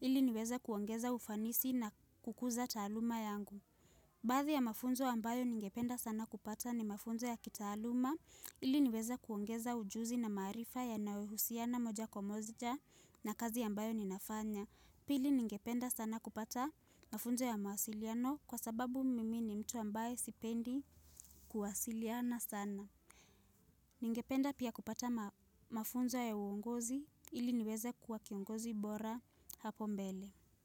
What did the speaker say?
ili niweze kuongeza ufanisi na kukuza taaluma yangu. Baadhi ya mafunzo ambayo ningependa sana kupata ni mafunzo ya kitaaluma, ili niweza kuongeza ujuzi na marifa yanayohusiana moja kwa moja na kazi ambayo ninafanya. Pili ningependa sana kupata mafunzo ya mawasiliano kwa sababu mimi ni mtu ambaye sipendi kuwasiliana sana. Ningependa pia kupata mafunzo ya uongozi ili niweze kuwa kiongozi bora hapo mbele.